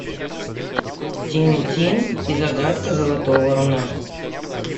тинтин и загадка золотого руна